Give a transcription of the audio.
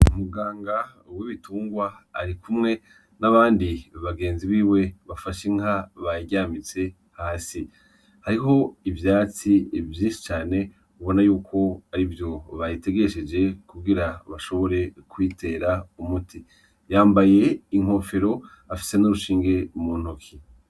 Umuganga wibitungwa arikumwe n'abandi bagenzi biwe bafashe inka, bayiryamitse hasi. Hariho ivyatsi vyinshi cane ubona yuko arivyo bayitegesheje kugira bashobore kuyitera umuti. Yambaye inkofero, afise n'urushinge mu ntoke.